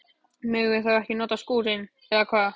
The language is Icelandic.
Megum við þá ekki nota skúrinn, eða hvað?